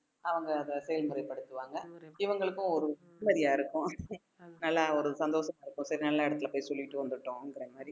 அவங்க அதை செயல்முறைப்படுத்துவாங்க இவங்களுக்கும் ஒரு சரியா இருக்கும் நல்லா ஒரு சந்தோஷமா இருக்கும் சரி நல்ல இடத்துல போய் சொல்லிட்டு வந்துட்டோம்ன்ற மாதிரி